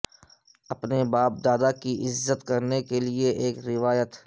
اپنے باپ دادا کی عزت کرنے کے لئے ایک روایت